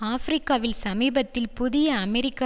ஆபிரிக்காவில் சமீபத்தில் புதிய அமெரிக்க